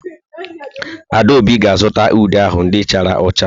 Adaobi ga-azụta ude ahụ ndị chara ụcha.